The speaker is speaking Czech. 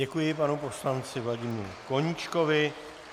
Děkuji panu poslanci Vladimíru Koníčkovi.